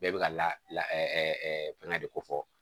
Bɛɛ bɛ ka la fɛngɛ de ko fɔ